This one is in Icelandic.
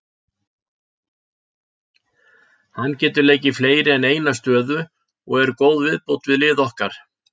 Hann getur leikið fleiri en eina stöðu og er góð viðbót við lið okkar.